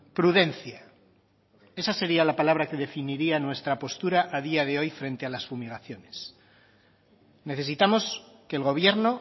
prudencia esa sería la palabra que definiría nuestra postura a día de hoy frente a las fumigaciones necesitamos que el gobierno